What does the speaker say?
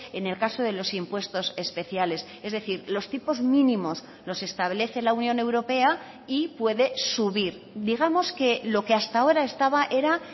en el caso de los impuestos especiales es decir los tipos mínimos los establece la unión europea y puede subir digamos que lo que hasta ahora estaba era